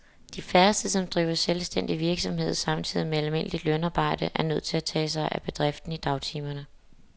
De færreste, som driver selvstændig virksomhed samtidig med almindeligt lønarbejde, er nødt til at tage sig af bedriften i dagtimerne.